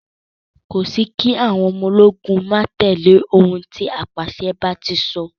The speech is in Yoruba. Kò sí kí àwọn ọmọ ológun máa tẹ̀lẹ́ òun tí apàṣẹ bá ti sọ.